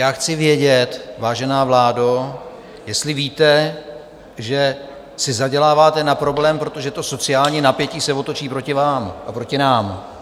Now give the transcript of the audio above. Já chci vědět, vážená vládo, jestli víte, že si zaděláváte na problém, protože to sociální napětí se otočí proti vám a proti nám.